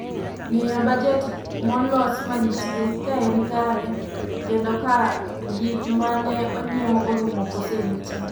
Ng'iyo bajet molos manitie, ka en kare, kendo ka gik ma ne onyiew orumo kose nitie